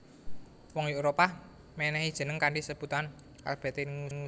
Wong Éropah mènèhi jeneng kanthi sebutan AlBategnius